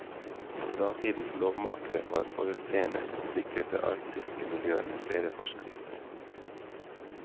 Datidens lovmakere var forutseende og sikret det arktiske miljøet med flere forskrifter.